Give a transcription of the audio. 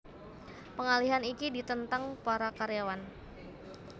Pengalihan iki ditentang para karyawan